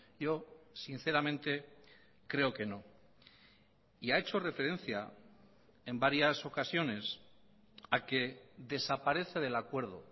yo sinceramente creo que no y ha hecho referencia en varias ocasiones a que desaparece del acuerdo